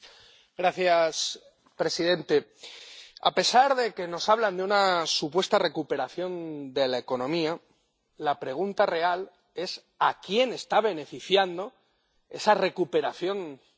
Señor presidente, a pesar de que nos hablan de una supuesta recuperación de la economía, la pregunta real es a quién está beneficiando esa recuperación de la economía.